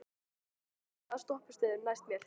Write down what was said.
Haraldur, hvaða stoppistöð er næst mér?